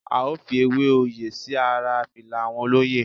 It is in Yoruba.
A ó fi Ewé oyè sí ara fìlà àwọn olóyè.